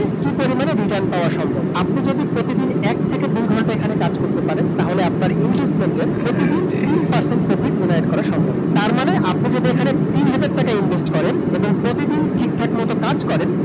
কি পরিমাণে return পাওয়া সম্ভব । আপনি যদি প্রতিদিন এক থেকে দুই ঘণ্টা এখানে কাজ করতে পারেন, তাহলে আপনার investment এর প্রতিদিন তিন percent profit করা সম্ভব । তারমানে আপনি যদি এখানে তিন হাজার টাকা invest করেন এবং প্রতিদিন ঠিকঠাক মত কাজ করেন